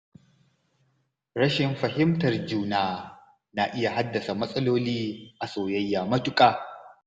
Rashin fahimtar juna na iya haddasa matsaloli a soyayya matuƙa.